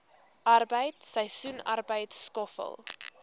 arbeid seisoensarbeid skoffel